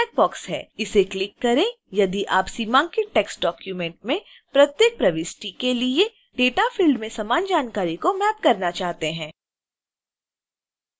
इसे क्लिक करें यदि आप सीमांकित टेक्स्ट डॉक्यूमेंट में प्रत्येक प्रविष्टि के लिए डेटाफील्ड में समान जानकारी को मैप करना चाहते हैं